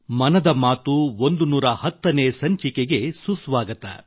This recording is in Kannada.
ಮನದ ಮಾತು ೧೧೦ನೇ ಸಂಚಿಕೆಗೆ ಸುಸ್ವಾಗತ